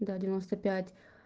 да девяносто пять